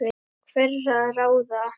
hverra ráða.